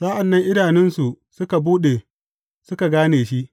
Sa’an nan idanunsu suka buɗe, suka gane shi.